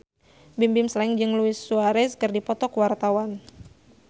Bimbim Slank jeung Luis Suarez keur dipoto ku wartawan